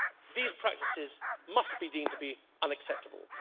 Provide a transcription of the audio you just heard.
These practices must be deemed to be unacceptable.